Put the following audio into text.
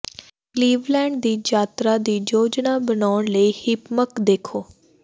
Cleveland ਦੀ ਯਾਤਰਾ ਦੀ ਯੋਜਨਾ ਬਣਾਉਣ ਲਈ ਹਿੱਪਮਕ ਦੇਖੋ